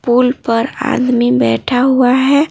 पुल पर आदमी बैठा हुआ है।